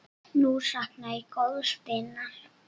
Nú sakna ég góðs vinar.